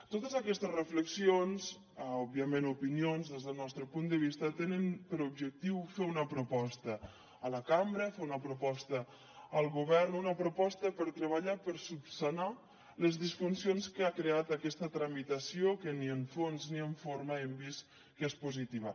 totes aquestes reflexions òbviament o opinions des del nostre punt de vista tenen per objectiu fer una proposta a la cambra fer una proposta al govern una proposta per treballar per solucionar les disfuncions que ha creat aquesta tramitació que ni en fons ni en forma hem vist que és positiva